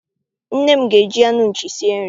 Nne m ga- eji anụ nchi sie nri.